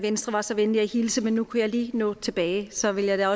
venstre var så venlig at hilse men nu kunne jeg lige nå tilbage og så vil jeg